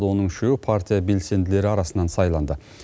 оның үшеуі партия белсенділері арасынан сайланды